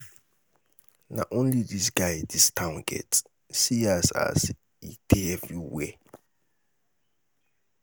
na only dis guy dis town get? see as as he dey everywhere.